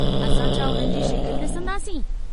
असां छा उन्हनि जी शिकिल डिसंदासीं?